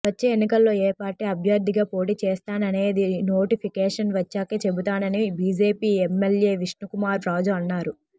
వచ్చే ఎన్నికల్లో ఏ పార్టీ అభ్యర్ధిగా పోటీ చేస్తాననేది నోటిఫికేషన్ వచ్చాకే చెబుతానని బిజెపి ఎమ్మెల్యే విష్ణుకుమార్ రాజు అన్నారు